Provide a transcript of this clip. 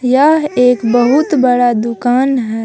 यह एक बहुत बड़ा दुकान है।